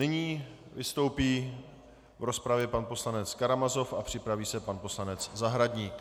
Nyní vystoupí v rozpravě pan poslanec Karamazov a připraví se pan poslanec Zahradník.